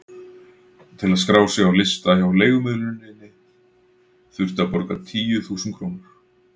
Til að skrá sig á lista hjá leigumiðluninni þurfti að borga tíu þúsund krónur.